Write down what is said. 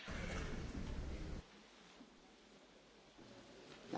Herr Präsident, Frau Kommissarin, liebe Kolleginnen und Kollegen!